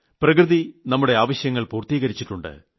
പ്രകൃതി നമ്മുടെ ആവശ്യങ്ങൾ പൂർത്തീകരിച്ചിട്ടുണ്ട്